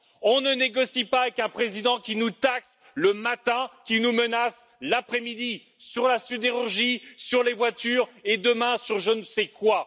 On ne négocie pas avec un président qui nous taxe le matin, qui nous menace l'après midi sur la sidérurgie, sur les voitures et demain sur je ne sais quoi!